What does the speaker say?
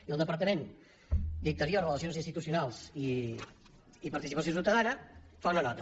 i el departament d’interior relacions institucionals i participació ciutadana fa una nota